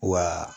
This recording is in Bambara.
Wa